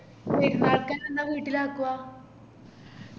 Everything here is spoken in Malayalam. പെരുന്നാക്കെല്ലാം എന്ന വീട്ടിലേക്കുവാ